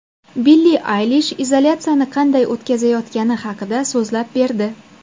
Billi Aylish izolyatsiyani qanday o‘tkazayotgani haqida so‘zlab berdi.